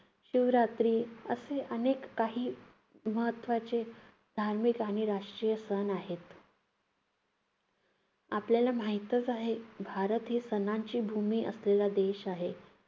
शिवरात्री, असे अनेक काही महत्त्वाचे धार्मिक आणि राष्ट्रीय सण आहेत. आपल्याला माहितच आहे, भारत ही सणांची भूमी असलेला देश आहे.